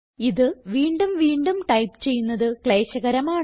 ഇത് വീണ്ടും വീണ്ടും ടൈപ്പ് ചെയ്യുന്നത് ക്ലേശകരമാണ്